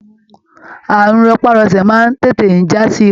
Ààrùn rọpárọsẹ̀ máa n tètè jasi ikú.